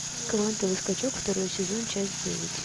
квантовый скачок второй сезон часть девять